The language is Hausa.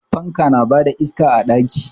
Fanka na ba da iska a ɗaki.